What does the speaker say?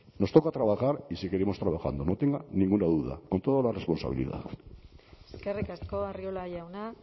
nos toca trabajar y seguiremos trabajando no tenga ninguna duda con toda la responsabilidad eskerrik asko arriola jauna